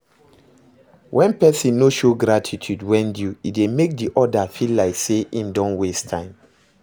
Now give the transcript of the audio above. When persin no show gratitude when due e de make di other feel like say I'm don waste time